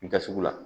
Da sugu la